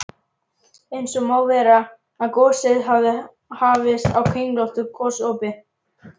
Eins má vera, að gosið hafi hafist á kringlóttu gosopi.